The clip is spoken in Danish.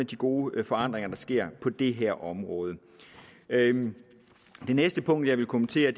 de gode forandringer der sker på det her område det næste punkt jeg vil kommentere